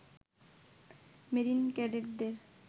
marine ক্যাডেটদের